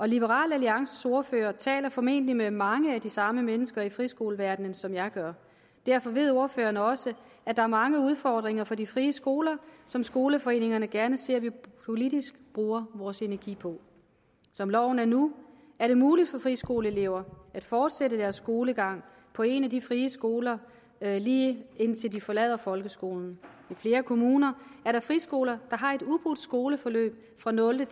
liberal alliances ordfører taler formentlig med mange af de samme mennesker i friskoleverdenen som jeg gør og derfor ved ordføreren også at der er mange udfordringer for de frie skoler som skoleforeningerne gerne ser vi politisk bruger vores energi på som loven er nu er det muligt for friskoleelever at fortsætte deres skolegang på en af de frie skoler lige indtil de forlader folkeskolen i flere kommuner er der friskoler der har et ubrudt skoleforløb fra nulte